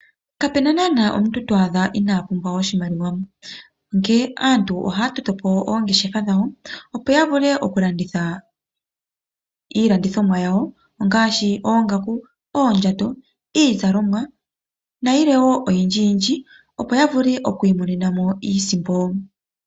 Kapena naana omuntu to adha inapumbwa oshimaliwa. Onkee aantu ohaya tameke oongeshefa dhawo opo yavule oku landitha iilandithomwa yawo ngaashi oongaku, oondjato, iizalomwa nayilwe woo oyindji yindji opo yavule oku imonenamo iisimpo.